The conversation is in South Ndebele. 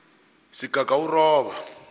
sigagawuroba